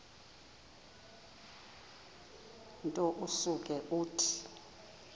nto usuke uthi